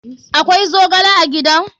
Akwai zogle a gidan?